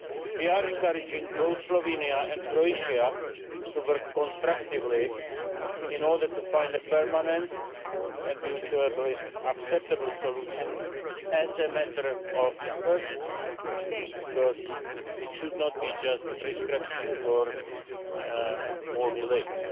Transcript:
We are encouraging both Slovenia and Croatia to work constructively in order to find a permanent and mutually acceptable solution as a matter of urgency, because it should not be just a prescription for more delays.